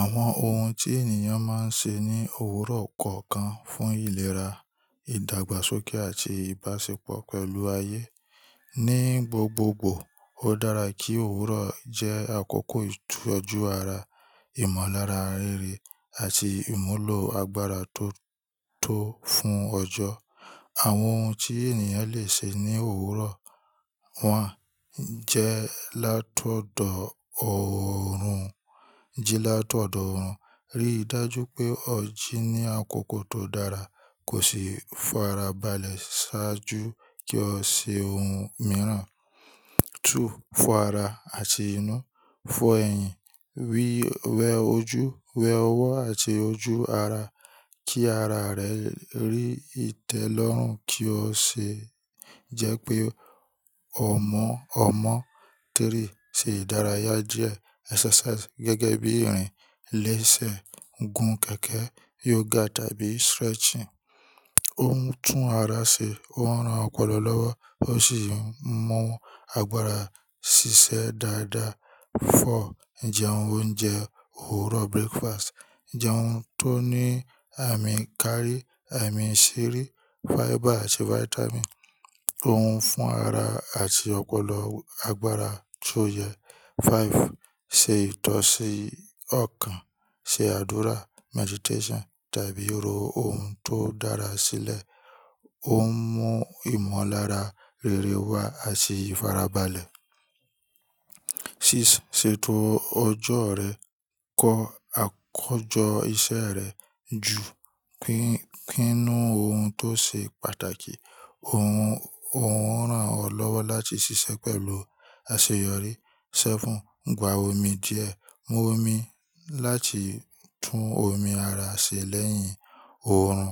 Àwọn ohun tí ènìyàn máa ń ṣe ní òwúrọ̀ kọ̀ọ̀kan fún ìlera, ìdàgbàsókè àti ìbáṣepọ̀ pẹ̀lú ayé. Ni gbogbogbò, ó dára kí òwúrọ̀ jẹ́ àkókò ìtọ́jú ara, ìmọ̀lára rere àti ìmúlò agbára tó tó fún ọjọ́. Àwọn ohun tí ènìyàn lè ṣe ní òwúrọ̀ one jẹ́ látọ̀dọ̀ oòrùn. Ji látọ̀dọ̀ oòrùn. Rí i dájú pé ọjì ni àkókò tó dára. Kò ṣe é farabalẹ̀ ṣáájú kí o ṣe ohun mìíràn. Two, fọ ara àti inú. Fọ ẹ̀yìn, wé ọwọ́ àti ojú ara. Kí ara rẹ rí ìtẹ́lọ́rùn kí ó ṣe jẹ́ pé ọmọ ọmọ. Three, ṣe ìdárayá díẹ̀ exercise gẹ́gẹ́ bí ìrìn léṣe, gun kẹ̀kẹ́, yoga tàbí stretching. Ó ń tún ara ṣe, ó ń ran ọpọlọ lọ́wọ́ ó sì ń mú agbára ṣiṣẹ́ dáadáa. Four, jẹ oúnjẹ òwúrọ̀ breakfast. Jẹ ohun tó ní àmì káárì, àmì ṣírí, fiber àti vitamin. Ó ń fún ara àti ọpọlọ agbára tó yẹ. Five, ṣe ìtọ̀sí ọkàn. Se àdúrà, meditation tàbí ro ohun tó dára sílẹ̀. Ó ń mú ìmọ̀lára rere wá àti ìfarabalẹ̀. Six, ṣètò ọjọ́ rẹ. Kọ àkójọ iṣẹ́ rẹ ju kínú ohun tó ṣe pàtàkì. Ó ń ran ọ lọ́wọ́ láti ṣiṣẹ́ pẹ̀lú àṣeyọrí. Seven, gba omi díẹ̀. Mu omi láti tún omi ara ṣe lẹ́yìn oòrùn.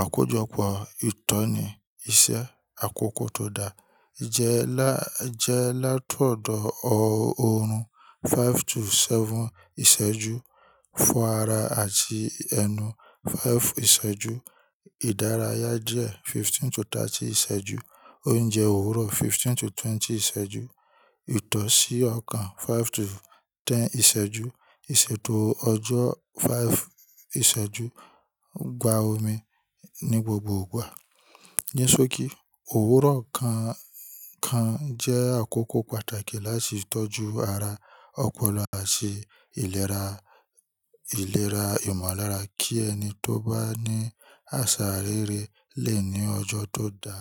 Àkójọpọ̀ ìtọ́ni iṣẹ́ àkókò tó da. Je laa Jẹ látọ̀dọ̀ oòrùn five to seven ìṣẹ́jú. Fọ ara àti ẹnu five ìṣẹ́jú. Ìdárayá díẹ̀ fifteen to thirty ìṣẹ́jú. Oúnjẹ òwúrọ̀ fifteen to twenty ìṣẹ́jú. Ìtọ̀sí ọkàn five to ten ìṣẹ́jú. Ìṣètò ọjọ́ five ìṣẹ́jú. Gba omi ní gbogbo ìgbà. Ni sókí, òwúrọ̀ kọ̀ọ̀kan jẹ́ àkókò pàtàkì láti tọ́jú ara, ọpọlọ àti ìlera ìmọ̀lára kí ẹni tó bá ní àṣà rere lè ní ọjọ́ tó da.